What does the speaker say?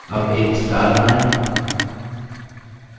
अब एक star बनाएँ